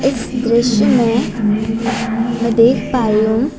इस दृश्य में मैं देख पा रही हूं--